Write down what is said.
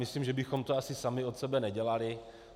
Myslím, že bychom to asi sami od sebe nedělali.